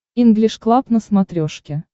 инглиш клаб на смотрешке